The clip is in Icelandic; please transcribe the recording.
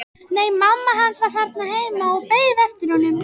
Nei, mamma hans var þarna heima og beið eftir honum.